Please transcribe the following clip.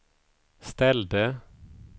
ställde